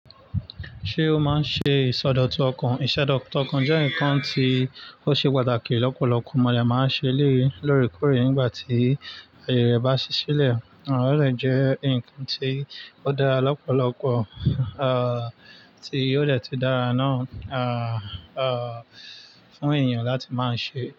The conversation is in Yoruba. Ṣé o máa ń ṣe ìsọdọ̀tun ọkàn? Ìṣẹ̀dọ̀tún ọkàn jẹ́ nǹkan tí ó ṣe pàtàkì. Lọ́pọ̀lọpọ̀ ọmọlẹ̀ máa ń ṣe léè lórí kórí nígbà tí ayọ̀ rẹ̀ bá ṣí sílẹ̀. Ó lè jẹ́ ǹkan tí ó dára lọ́pọ̀lọpọ̀, tí ó le tú dára náà, ah, ah, fún èèyàn láti máa ṣe.